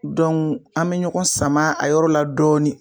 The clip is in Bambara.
an me ɲɔgɔn sama a yɔrɔ la dɔɔnin